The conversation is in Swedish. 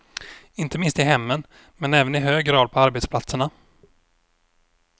Inte minst i hemmen men även i hög grad på arbetsplatserna.